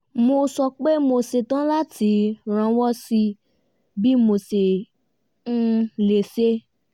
mo sọ pé mo setán láti rànwọ́ sí bí mo ṣe um lè ṣe